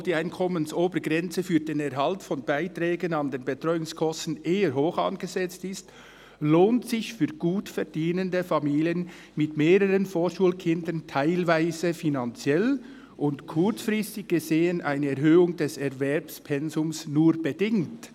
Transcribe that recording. «Obwohl die Einkommensobergrenze für den Erhalt von Beiträgen an den Betreuungskosten eher hoch angesetzt ist, lohnt sich für gutverdienende Familien mit mehreren Vorschulkindern teilweise finanziell und kurzfristig gesehen eine Erhöhung des Erwerbspensums nur bedingt.»